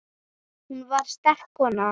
Hún var sterk kona.